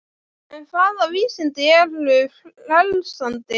En hvaða vísindi eru frelsandi?